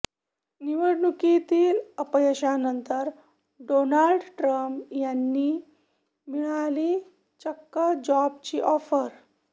निवडणुकीतील अपयशानंतर Donald Trump यांनी मिळाली चक्क जॉबची ऑफर